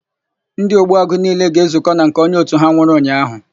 Ndị Ogbuagụ niile ga-ezukọ na nke onye òtù ha nwụrụ ụnyaahụ.